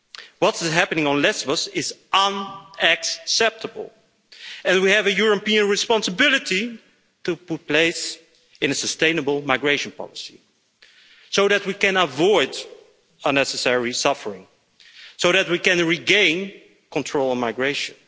What is happening on Lesbos is unacceptable and we have a European responsibility to put in place a sustainable migration policy, so that we can avoid unnecessary suffering and so that we can regain control of migration.